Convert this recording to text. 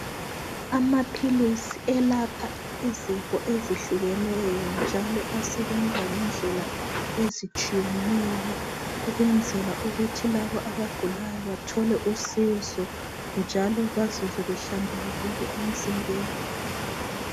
Amaphilisi elapha izifo ezihlukeneyo njalo asebenza ngendlela ezitshiyeneyo ukwenzela ukuthi labo abagulayo bathole usizo njalo bazizwe behlambulukile emzimbeni.